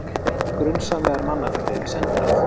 Grunsamlegar mannaferðir við sendiráð